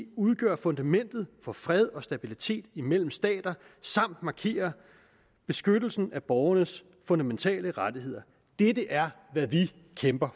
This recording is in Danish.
udgør fundamentet for fred og stabilitet imellem stater samt markerer beskyttelsen af borgernes fundamentale rettigheder dette er hvad vi kæmper